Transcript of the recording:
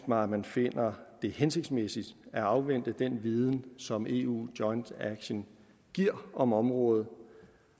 mig at man finder det hensigtsmæssigt at afvente den viden som eu joint action giver om området